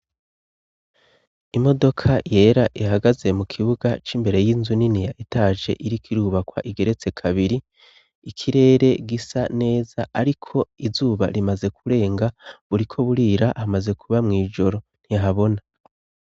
Imodoka yera ihagaze mu kibuga c'imbere y'inzu nini etaje iriko irubakwa igeretse kabiri ikirere gisa neza ariko izuba rimaze kurenga buriko burira hamaze kuba mw'ijoro ntihabona.